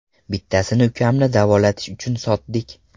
Bittasini ukamni davolatish uchun sotdik.